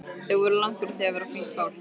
Þau voru langt frá því að vera fínt fólk.